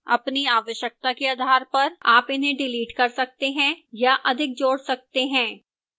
अपनी आवश्यकता के आधार पर आप इन्हें डिलीट कर सकते हैं या अधिक जोड़ सकते हैं